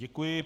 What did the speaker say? Děkuji.